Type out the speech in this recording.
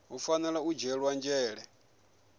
hu fanela u dzhielwa nzhele